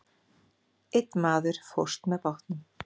Einn maður fórst með bátnum.